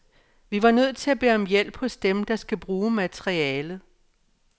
Vi var nødt til at bede om hjælp hos dem, der skal bruge materialet.